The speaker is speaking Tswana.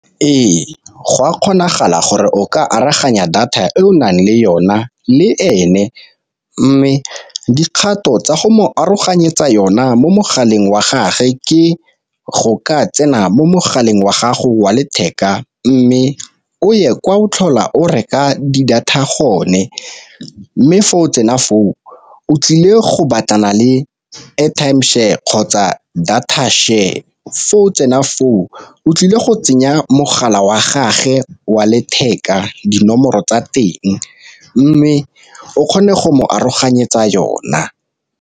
Ee, go a kgonagala gore o ka aroganya data e o nang le yona le ene, mme dikgato tsa go mo aroganyetsa yona mo mogaleng wa gage ke go ka tsena mo mogaleng wa gago wa letheka mme o ye kwa o tlhola o reka di-data gone, mme fa o tsena foo o tlile go batlana le airtime share kgotsa data share. o tsena foo o tlile go tsenya mogala wa gage wa letheka dinomoro tsa teng, mme o kgone go mo aroganyetsa yona.